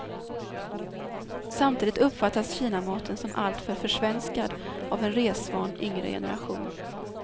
Samtidigt uppfattas kinamaten som alltför försvenskad av en resvan yngre generation.